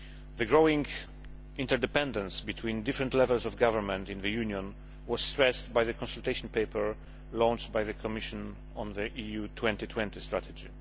The growing interdependence between different levels of government in the Union was stressed by the consultation paper launched by the Commission on the EU 2020 strategy.